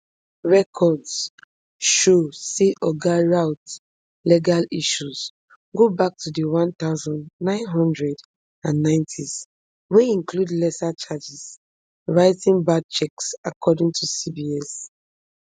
records show say oga routh legal issues go back to di one thousand, nine hundred and ninetys wey include lesser charges writing bad cheques according to cbs